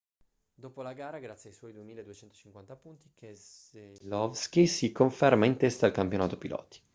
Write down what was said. dopo la gara grazie ai suoi 2.250 punti keselowski si conferma in testa al campionato piloti